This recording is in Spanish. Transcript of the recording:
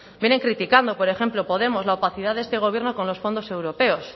vienen criticando por ejemplo podemos la opacidad de este gobierno con los fondos europeos